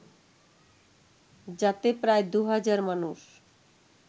যাতে প্রায় দু হাজার মানুষ